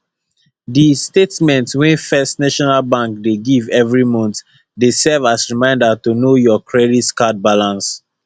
the statement wey first national bank dey give every month dey serve as reminder to know your credit card balance